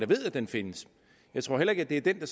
ved at den findes jeg tror heller ikke det er den